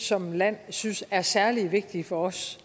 som land synes er særlig vigtige for os